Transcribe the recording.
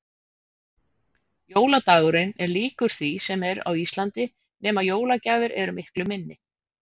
Jóladagurinn er líkur því sem er á Íslandi nema jólagjafir eru miklu minni.